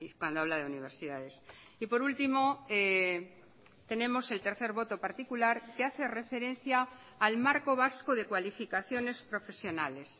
cuando habla de universidades y por último tenemos el tercer voto particular que hace referencia al marco vasco de cualificaciones profesionales